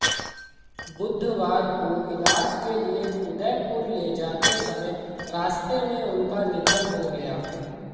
बुधवार को इलाज के लिए उदयपुर ले जाते समय रास्ते में उनक निधन हो गया